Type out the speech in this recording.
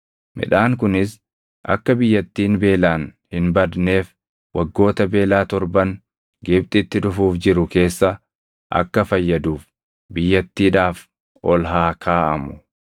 Midhaan kunis akka biyyattiin beelaan hin badneef waggoota beelaa torban Gibxitti dhufuuf jiru keessa akka fayyaduuf biyyattiidhaaf ol haa kaaʼamu.”